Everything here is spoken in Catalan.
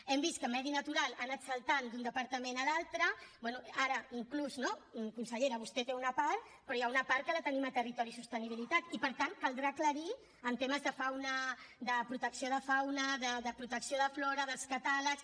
hem vist que medi natural ha anat saltant d’un departament a l’altre bé ara inclús no consellera vostè en té una part però hi ha una part que la tenim a territori i sostenibilitat i per tant caldrà aclarir en temes de fauna de protecció de fauna de protecció de flora dels catàlegs